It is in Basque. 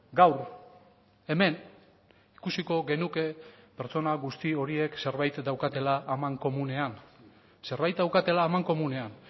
gaur hemen ikusiko genuke pertsona guzti horiek zerbait daukatela amankomunean zerbait daukatela amankomunean